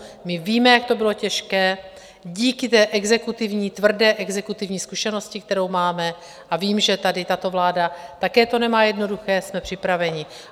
My víme, jak to bylo těžké díky té exekutivní, tvrdé exekutivní zkušenosti, kterou máme, a vím, že tady tato vláda to také nemá jednoduché, jsme připraveni.